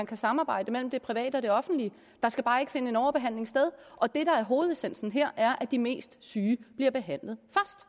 kan samarbejdes mellem det private og det offentlige der skal bare ikke finde overbehandling sted og det der er hovedessensen her er at de mest syge bliver behandlet